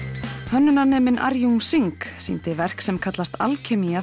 Arjun Singh sýndi verk sem kallast